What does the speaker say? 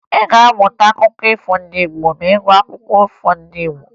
Ị ga-amụta akụkọ ifo ndị Igbo ma ị gụọ akwụkwọ akụkọ ifo ndị Igbo